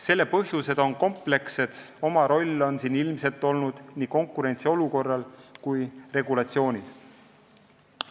Selle põhjused on komplekssed, oma roll on siin ilmselt olnud nii konkurentsiolukorral kui ka regulatsioonil.